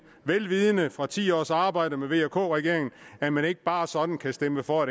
vel vidende efter ti års arbejde med vk regeringen at man ikke bare sådan kan stemme for